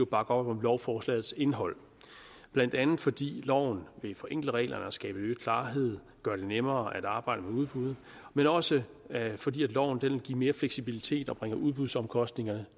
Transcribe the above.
bakker op om lovforslagets indhold blandt andet fordi lovene vil forenkle reglerne og skabe øget klarhed gøre det nemmere at arbejde med udbud men også fordi loven vil give mere fleksibilitet og bringe udbudsomkostningerne